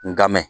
N ka mɛn